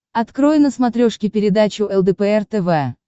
открой на смотрешке передачу лдпр тв